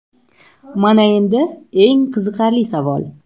Mana endi eng qiziqarli savol.